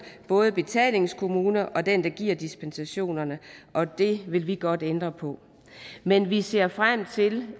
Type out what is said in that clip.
både betalingskommune og den der giver dispensationerne og det vil vi godt ændre på men vi ser frem til